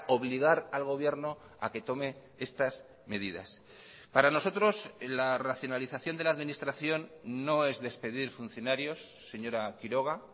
obligar al gobierno a que tome estas medidas para nosotros la racionalización de la administración no es despedir funcionarios señora quiroga